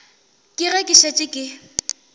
ke ge ke šetše ke